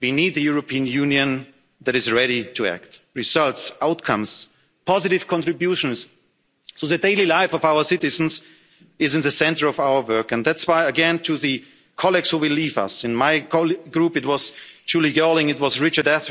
we need a European Union that is ready to act results, outcomes, positive contributions to the daily life of our citizens is in the centre of our work, and that's why, again, to the colleagues who will leave us in my Group it was Julie Girling, it was